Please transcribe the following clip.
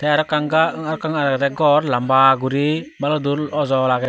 te arawkkan gor lamba guri baludur awjol agey.